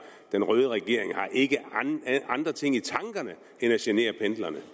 den røde regering har ikke andre ting i tankerne end at genere pendlerne